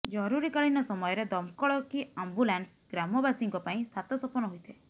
ଜରୁରୀକାଳୀନ ସମୟରେ ଦମକଳ କି ଆମ୍ବୁଲାନ୍ସ ଗ୍ରାମବାସୀଙ୍କ ପାଇଁ ସାତସପନ ହୋଇଥାଏ